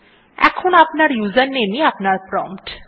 এখন আপনার ইউজারনেম ই আপনার প্রম্পট